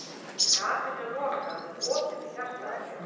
Gatinu er lokað með opinni hjartaaðgerð.